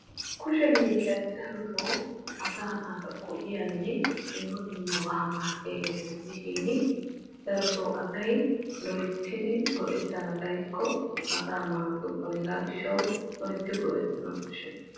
Kushee miishshatta darotto asaa naata go''iyanne dumma dumma maadiyagetta gidishin darotoo asay loyttiddi go'ettanna xaykko asaa maaddokona hegaa gishshaw asay go''ettana koshees.